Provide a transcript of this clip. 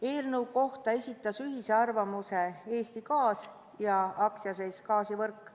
Eelnõu kohta esitasid ühise arvamuse AS Eesti Gaas ja AS Gaasivõrk.